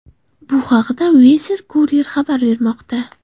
Bu haqda Weser Kurier xabar bermoqda .